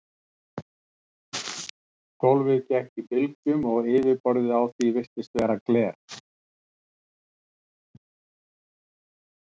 Gólfið gekk í bylgjum og yfirborðið á því virtist vera gler.